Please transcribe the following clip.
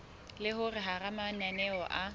le hore hara mananeo a